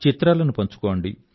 చిత్రాలను పంచుకోండి